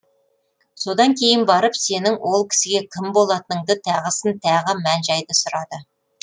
содан кейін барып сенің ол кісіге кім болатыныңды тағысын тағы мән жайды сұрады